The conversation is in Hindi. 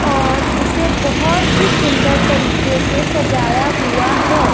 और इसे बहोत ही सुंदर तरीके से सजाया हुआ है।